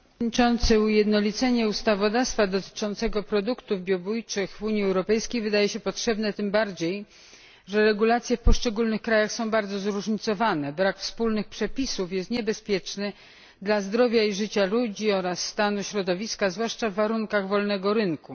Panie Przewodniczący! Ujednolicenie ustawodawstwa dotyczącego produktów biobójczych w Unii Europejskiej wydaje się potrzebne tym bardziej, że regulacje w poszczególnych krajach są bardzo zróżnicowane. Brak wspólnych przepisów jest niebezpieczny dla zdrowia i życia ludzi oraz stanu środowiska, zwłaszcza w warunkach wolnego rynku.